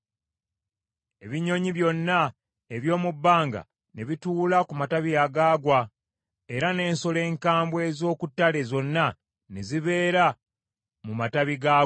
Ebinyonyi byonna eby’omu bbanga ne bituula ku matabi agaagwa, era n’ensolo enkambwe ez’oku ttale zonna ne zibeera mu matabi gaagwo.